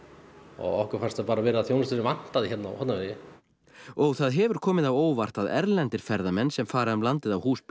okkur fannst það bara vera þjónusta sem vantaði hérna á Hornafirði og það hefur komið óvart að erlendir ferðamenn sem fara um landið á húsbílum